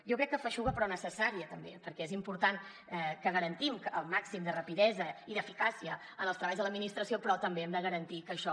jo crec que feixuga però necessària també perquè és important que garantim el màxim de rapidesa i d’eficàcia en els treballs de l’administració però també hem de garantir que això